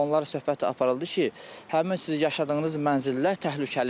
Onlarla söhbət aparıldı ki, həmin siz yaşadığınız mənzillər təhlükəlidir.